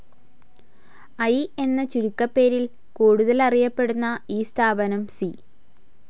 I എന്ന ചുരുക്കപ്പേരിൽ കൂടുതലറിയപ്പെടുന്ന ഈ സ്ഥാപനം സി.